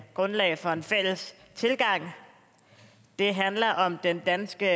grundlag for en fælles tilgang det handler om den danske